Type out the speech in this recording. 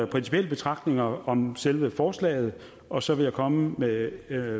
principielle betragtninger om selve forslaget og så vil jeg komme med